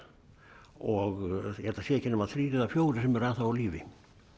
og ég held það séu ekki nema þrír eða fjórir sem eru ennþá á lífi